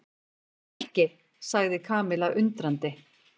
Nikki sagði Kamilla undrandi.